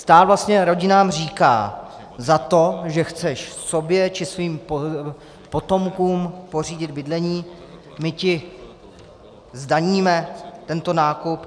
Stát vlastně rodinám říká: Za to, že chceš sobě či svým potomkům pořídit bydlení, my ti zdaníme tento nákup.